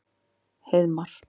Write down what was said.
Heiðmar